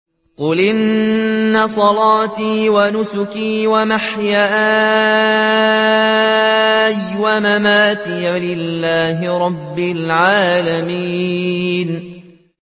قُلْ إِنَّ صَلَاتِي وَنُسُكِي وَمَحْيَايَ وَمَمَاتِي لِلَّهِ رَبِّ الْعَالَمِينَ